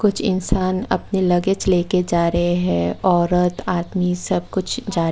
कुछ इंसान अपने लगेज लेकर जा रहे हैं औरत आदमी सब कुछ जा--